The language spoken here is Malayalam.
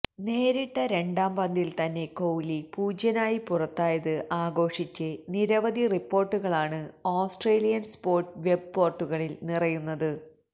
നേരിട്ട രണ്ടാം പന്തില് തന്നെ കോഹ്ലി പൂജ്യനായി പുറത്തായത് ആഘോഷിച്ച് നിരവധി റിപ്പോര്ട്ടുകളാണ് ഓസ്ട്രേലിയന് സ്പോട്സ് വെബ് പോര്ട്ടലുകളില് നിറയുന്നത്